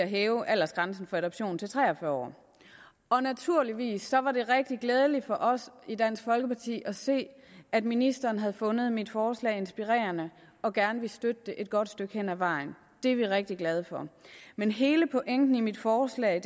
hæve aldersgrænsen for adoption til tre og fyrre år og naturligvis var det rigtig glædeligt for os i dansk folkeparti at se at ministeren havde fundet mit forslag inspirerende og gerne ville støtte det et godt stykke hen ad vejen det er vi rigtig glade for men hele pointen i mit forslag